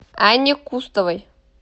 анне кустовой